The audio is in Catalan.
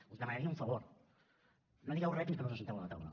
us demanaria un favor no digueu re fins que no us asseieu a la taula